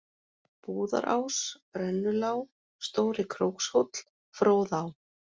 Búðarás, Brennulá, Stóri-Krókshóll, Fróðá